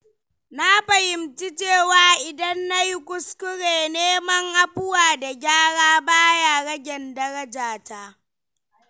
Na fahimci cewa idan nayi kuskure, neman afuwa da gyara ba ya ragen daraja ta.